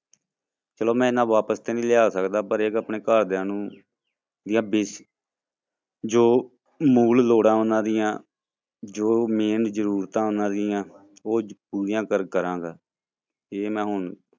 ਚਲੋ ਮੈਂ ਇੰਨਾ ਵਾਪਸ ਤੇ ਨੀ ਲਿਆ ਸਕਦਾ ਪਰ ਇੱਕ ਆਪਣੇ ਘਰਦਿਆਂ ਨੂੰ ਜੋ ਮੂਲ ਲੋੜ੍ਹਾਂ ਉਹਨਾਂ ਦੀਆਂ ਜੋ main ਜ਼ਰੂਰਤਾਂ ਉਹਨਾਂ ਦੀਆਂ, ਉਹ ਪੂਰੀਆਂ ਕਰ ਕਰਾਂਗਾ, ਇਹ ਮੈਂ ਹੁਣ